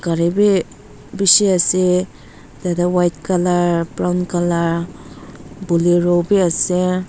gari bi bishi ase tate white colour brown colour bolero bi ase.